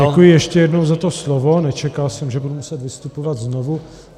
Děkuji ještě jednou za to slovo, nečekal jsem, že budu muset vystupovat znovu.